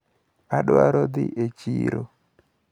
Adwaro dhi e chiro.